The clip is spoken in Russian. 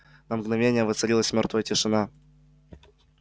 на мгновение воцарилась мёртвая тишина